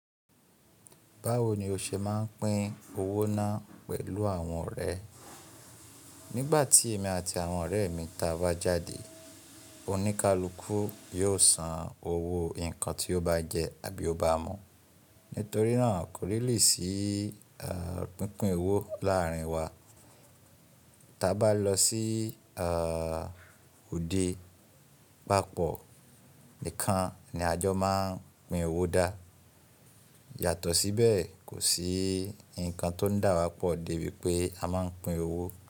Báwo ni o ṣe máa ń pín owó náà pẹ̀lú àwọn ọ̀rẹ́? Nígbà tí èmi àti àwọn ọ̀rẹ́ mi ta bà jáde, oníkálukú yóò san owó nǹkan tí ó bá jẹ àbí ó bá mu. Nítorí náà kò rí lè sí pínpín owó láàrin wa. Tábá lọ sí òde, papọ̀ nìkan ni a jọ máa ń pín owó dá. Yàtọ̀ síbẹ̀ kò sí nǹkan tó dà wá pọ̀ di wípé a máa ń pín owó.